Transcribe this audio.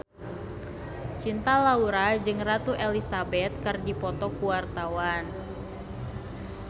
Cinta Laura jeung Ratu Elizabeth keur dipoto ku wartawan